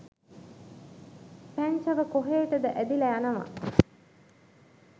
පැංචව කොහේටද ඇදිලා යනවා.